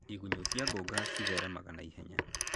Igunyũ cia ngũnga ci theremaga na ihenya.